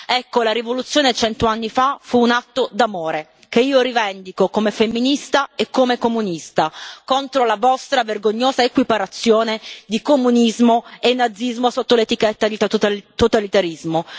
Ecco, la rivoluzione, cento anni fa, fu un atto d'amore, che io rivendico come femminista e come comunista, contro la vostra vergognosa equiparazione di comunismo e nazismo sotto l'etichetta di totalitarismo.